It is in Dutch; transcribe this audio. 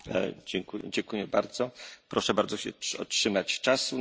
Voorzitter, we spreken vandaag over de financiering van terrorisme.